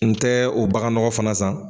N tɛ o bagan nɔgɔ fana san.